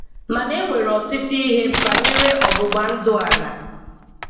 Mana enwere ọtụtụ ihe banyere ọgbụgbandụ a na